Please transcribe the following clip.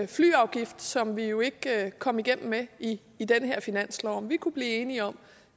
flyafgift som vi jo ikke kom igennem med i den her finanslov altså om vi kunne blive enige om